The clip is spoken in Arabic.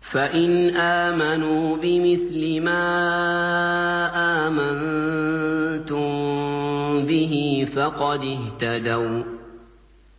فَإِنْ آمَنُوا بِمِثْلِ مَا آمَنتُم بِهِ فَقَدِ اهْتَدَوا ۖ